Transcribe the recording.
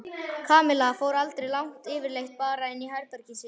Kamilla fór aldrei langt yfirleitt bara inn í herbergið sitt.